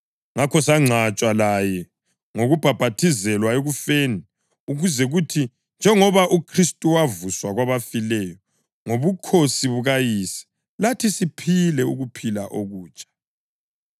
Ngakho sangcwatshwa laye ngokubhaphathizelwa ekufeni, ukuze kuthi njengoba uKhristu wavuswa kwabafileyo ngobukhosi bukaYise, lathi siphile ukuphila okutsha.